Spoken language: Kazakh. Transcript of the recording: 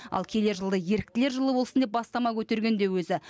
ал келер жылды еріктілер жылы болсын деп бастама көтерген де өзі